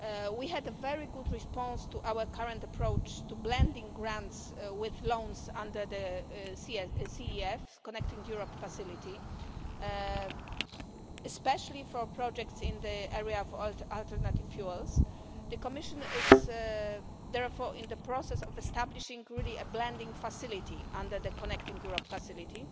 We had a very good response to our current approach to blending grants with loans under the Connecting Europe Facility especially for projects in the area of alternative fuels. The Commission is therefore in the process of establishing a blending facility under the Connecting Europe facility.